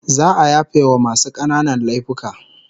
Za'a yafewa masu kananan laifuka